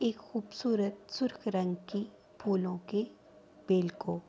ایک خوبصورت سرخ رنگ کی پھولو کی بل کو--